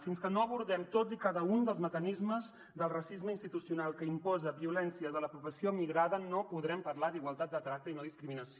fins que no abordem tots i cada un dels mecanismes del racisme institucional que imposa violències a la població migrada no podrem parlar d’igualtat de tracte i no discriminació